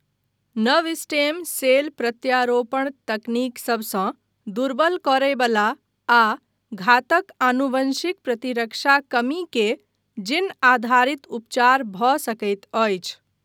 नव stem cell प्रत्यारोपण तकनीक सभसँ दुर्बल करय बला आ घातक आनुवंशिक प्रतिरक्षा कमी के जीन आधारित उपचार भऽ सकैत अछि।